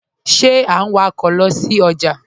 Ṣe à n wọ̀kọ̀ lọ sí ọjà?